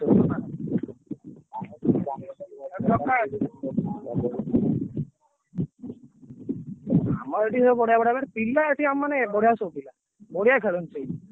ଆମର ଏଠି ସବୁ ବଢିଆ ବଢିଆ ମାନେ ପିଲା ଏଠି ଆମ ମାନେ ବଢିଆ ସବୁ ପିଲା ବଢିଆ ଖେଳନ୍ତି ସବୁ।